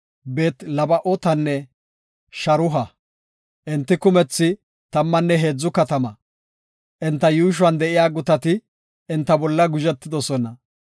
Beet-Laba7ootanne Sharuha. Enti kumethi tammanne heedza katama. Enta yuushuwan de7iya gutati enta bolla guzhetoosona.